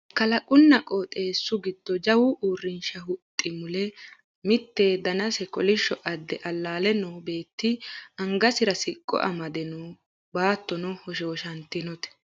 kalqunna qoxeessu giddo jawa uurrinsha huxxi mule mitte danase kolishsho adde allaale noo beetti angasira siqqo amade no baattono hoshooshantinote